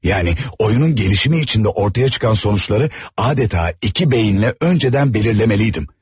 Yəni oyunun gelişimi içində ortaya çıxan sonuçları adeta iki beyinlə önceden belirleməliydim.